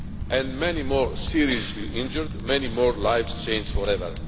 and many more have been seriously injured, many more lives changed forever.